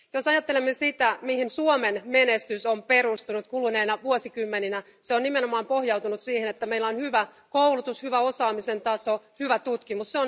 Jos ajattelemme sitä, mihin Suomen menestys on perustunut kuluneina vuosikymmeninä, se on nimenomaan pohjautunut siihen, että meillä on hyvä koulutus, hyvä osaamisen taso sekä hyvä tutkimus.